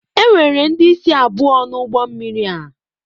Enwere ndị isi abụọ na ụgbọ mmiri a